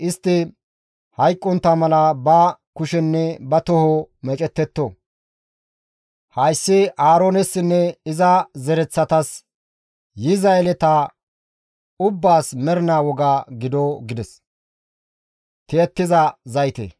istti hayqqontta mala ba kushenne ba toho meecettetto. Hayssi Aaroonessinne iza zereththatas, yiza yeleta ubbaas mernaa woga gido» gides.